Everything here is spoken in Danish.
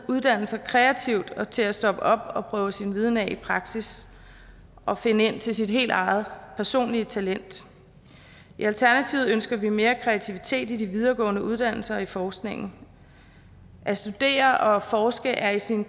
uddannelser kreativt og til at stoppe op og prøve sin viden af i praksis og finde ind til sit helt eget personlige talent i alternativet ønsker vi mere kreativitet i de videregående uddannelser i forskningen at studere og forske er i sin